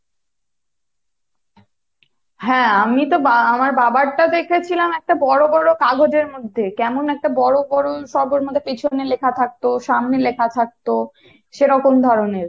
হ্যাঁ আমিতো বা আমার বাবার টা দেখেছিলাম একটা বড় বড় কাগজের মধ্যে কেমন একটা বড় বড় সব এর মধ্যে পিছনে লেখা থাকতো সামনে লেখা থাকতো সেরকম ধরণের